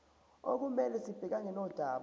okumele sibhekane nodaba